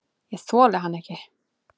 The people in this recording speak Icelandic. Ég þoli hann ekki.